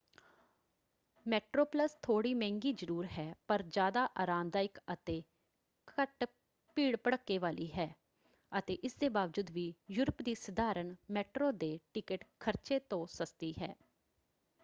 MetroPlus ਥੋੜ੍ਹੀ ਮਹਿੰਗੀ ਜ਼ਰੂਰ ਹੈ ਪਰ ਜ਼ਿਆਦਾ ਆਰਾਮਦਾਇਕ ਅਤੇ ਘੱਟ ਭੀੜ-ਭੜ੍ਹਕੇ ਵਾਲੀ ਹੈ ਅਤੇ ਇਸ ਦੇ ਬਾਵਜੂਦ ਵੀ ਯੂਰਪ ਦੀ ਸਧਾਰਨ ਮੈਟਰੋ ਦੇ ਟਿਕਟ ਖ਼ਰਚੇ ਤੋਂ ਸਸਤੀ ਹੈ।